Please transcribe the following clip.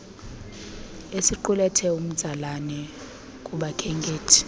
esiqulethe umtsalane kubakhenkethi